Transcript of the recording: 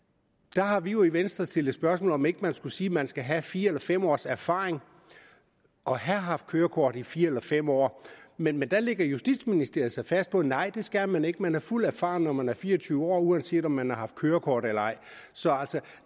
der har vi jo i venstre stillet det spørgsmål om ikke man skulle sige at man skal have fire eller fem års erfaring og have haft kørekort i fire eller fem år men der lægger justitsministeriet sig fast på nej det skal man ikke man er fuldt erfaren når man er fire og tyve år uanset om man har haft kørekort eller ej så